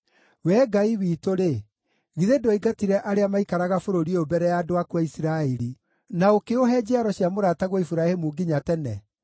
Wee Ngai witũ-rĩ, githĩ ndwaingatire arĩa maikaraga bũrũri ũyũ mbere ya andũ aku a Isiraeli na ũkĩũhe njiaro cia mũrataguo Iburahĩmu nginya tene?